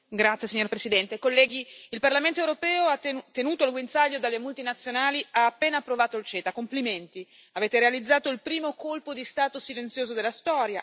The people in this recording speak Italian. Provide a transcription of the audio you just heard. Signor Presidente, onorevoli colleghi, il Parlamento europeo, tenuto al guinzaglio dalle multinazionali, ha appena approvato il CETA. Complimenti! Avete realizzato il primo colpo di Stato silenzioso della storia.